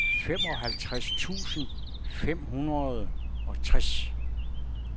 femoghalvtreds tusind fem hundrede og tres